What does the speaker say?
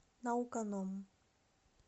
науканом